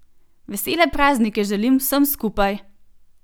Vesele praznike želim vsem skupaj!